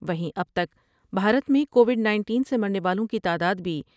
وہیں اب تک بھارت میں کو وڈ نائٹین سے مرنے والوں کی تعداد بھی ۔